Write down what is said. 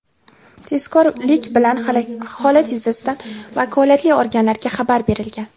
Tezkorlik bilan holat yuzasidan vakolatli organlarga xabar berilgan.